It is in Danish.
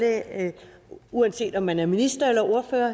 at uanset om man er minister eller ordfører